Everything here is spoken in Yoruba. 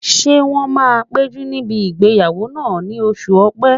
Ṣé wọ́n máa péjú níbi ìgbéyàwó náà ní oṣù ọ̀pẹ́?